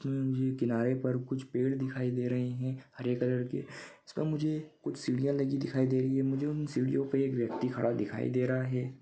के किनारे पर कुछ पेड़ दिखाई दे रही है हरे कलर के उसमे मुझे कुछ सिडिया लगी दिखाई दे रही है मुझे उन सिडियो पे एक व्यक्ति खड़ा दिखाई दे रहा है।